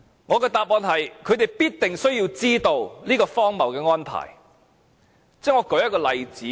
我的答案是，他們必定需要知道有這個荒謬的安排。